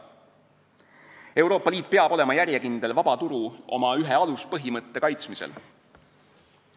Euroopa Liit peab olema järjekindel vaba turu – oma ühe aluspõhimõtte – kaitsmisel.